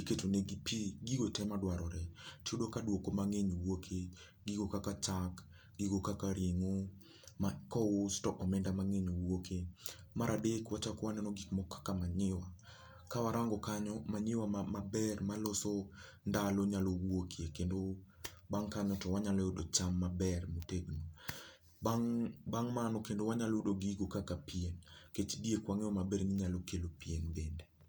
iketo ne gi pii gigo tee madwarore iyudo ka dwoko mangeny wuokie gigo kaka chak gigo kaka ringo makousi to omenda mangeny wuokie. Maradek wachak waneno gik moko kaka manure kawarango kanyo manure maber maloso ndalo nyalo wuoke kendo bang kanyo to wanyalo yudo cham maber motegno. Bang mano kendo wanyayudo gigo kaka pien nikech diek wangeyo maber ni nyalo kelo pien bende